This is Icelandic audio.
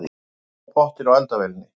Ekki má hreyfa pottinn á eldavélinni.